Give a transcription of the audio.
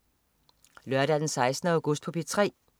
Lørdag den 16. august - P3: